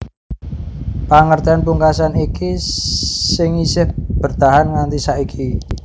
Pangertèn pungkasan iki sing isih bertahan nganti saiki